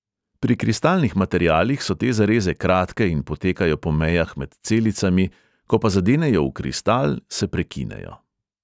Pri kristalnih materialih so te zareze kratke in potekajo po mejah med celicami, ko pa zadenejo v kristal, se prekinejo.